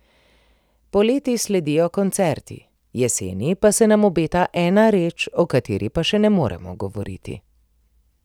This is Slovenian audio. Poleti sledijo koncerti, jeseni pa se nam obeta ena reč, o kateri pa še ne moremo govoriti.